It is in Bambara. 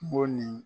Mo nin